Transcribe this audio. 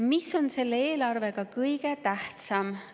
Mis on selle eelarve puhul kõige tähtsam?